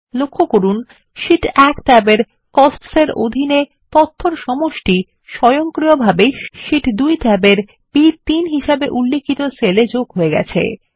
লক্ষ্য করুন শীট 1 ট্যাবের কোস্টস এর অধীনে তথ্যর সমষ্টি স্বয়ংক্রিয়ভাবে শীট 2 ট্যাবের বি3 হিসেবে উল্লিখিত সেল এ যোগ হয়ে গেছে